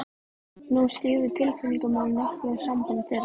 Nú skyggðu tilfinningamál nokkuð á samband þeirra.